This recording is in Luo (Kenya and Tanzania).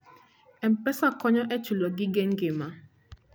M-Pesa konyo e chulo gige ngima.